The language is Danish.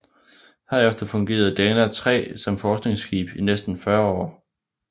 Herefter fungerede Dana III som forskningsskib i næsten 40 år